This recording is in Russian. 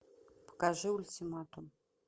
покажи ультиматум